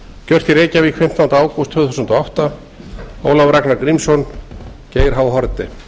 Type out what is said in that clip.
gert í reykjavík fimmtánda ágúst tvö þúsund og átta ólafur ragnar grímsson geir h haarde